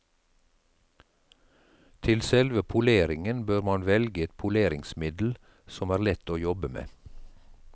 Til selve poleringen bør man velge et poleringsmiddel som er lett å jobbe med.